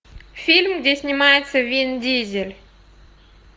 фильм где снимается вин дизель